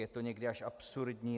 Je to někdy až absurdní.